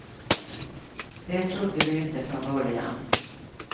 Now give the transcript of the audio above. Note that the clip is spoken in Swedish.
Det trodde du inte från början.